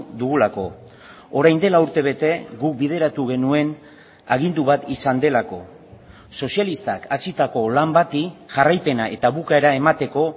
dugulako orain dela urtebete guk bideratu genuen agindu bat izan delako sozialistak hasitako lan bati jarraipena eta bukaera emateko